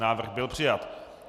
Návrh byl přijat.